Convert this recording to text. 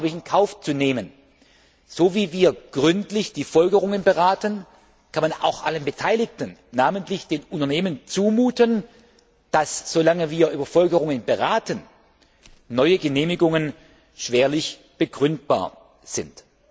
Es ist in Kauf zu nehmen. So wie wir gründlich die Folgerungen beraten, kann man auch allen Beteiligten, namentlich den Unternehmen, zumuten, dass, solange wir über Folgerungen beraten, neue Genehmigungen schwerlich begründbar sind.